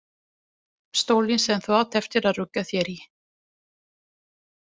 Stólinn sem þú átt eftir að rugga þér í.